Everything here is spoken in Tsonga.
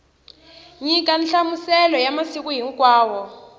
nyika nhlamuselo ya masiku hinkwawo